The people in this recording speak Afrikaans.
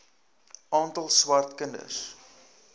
aantal swart kinders